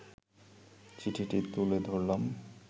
চিঠিটি তুলে ধরলাম